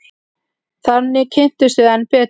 Þannig kynntumst við enn betur.